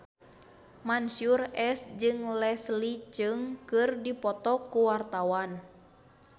Mansyur S jeung Leslie Cheung keur dipoto ku wartawan